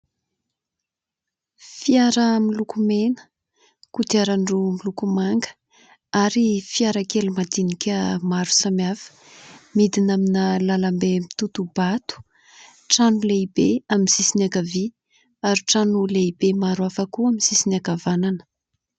Fiara miloko mena, kodiaran-droa miloko manga ary fiarakely madinika maro samihafa midina amina lalambe mitoto-bato, trano lehibe amin'ny sisiny ankavia ary trano lehibe maro hafa koa amin'ny sisiny ankavanana.